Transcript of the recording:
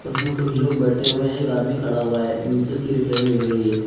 उसमें कुछ लोग बैठे हुए हैं एक आदमी खड़ा हुआ है नीचे की रिफ्लेक्शन दिख रही है।